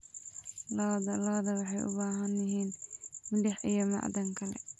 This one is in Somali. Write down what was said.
Lo'da lo'da waxay u baahan yihiin milix iyo macdan kale.